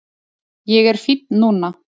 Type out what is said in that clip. Ég er fínn núna